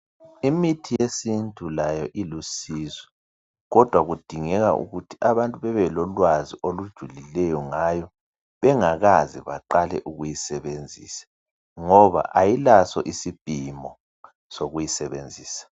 Imithi yesintu layo ilusizo kodwa kudingeka ukuthi abantu bebe lolwazi olujulileyo ngayo bengakaze baqale ukuyisebenzisa ngoba ayilaso isipimo sokuyisebenzisa.